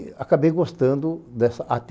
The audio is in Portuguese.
E acabei gostando dessa á tê ele